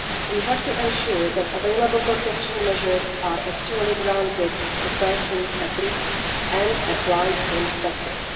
We have to ensure that available protection measures are actually granted to persons at risk and applied in practice.